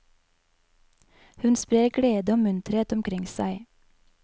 Hun sprer glede og munterhet omkring seg.